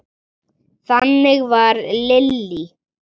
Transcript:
Þannig var Lillý.